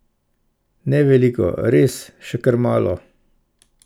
Ne veliko, res, še kar malo.